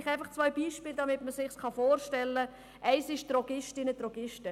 Vielleicht zwei Beispiele, damit man sich das vorstellen kann: Eines sind die Drogistinnen, Drogisten.